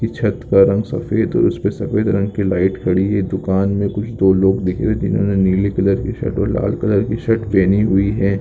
ये छत का रंग सफ़ेद उसपे सफ़ेद रंग की लाईट खड़ी है दुकान में कुछ दो लोग दिख रे जिन्होने नीले कलर की शर्ट और लाल कलर की शर्ट पहेनी हुई है।